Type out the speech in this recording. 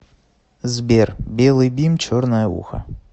сбер белый бим черное ухо